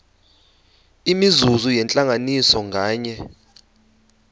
imizuzu yentlanganiso nganye